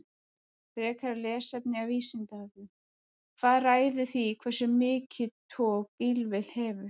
Frekara lesefni af Vísindavefnum: Hvað ræður því hversu mikið tog bílvél hefur?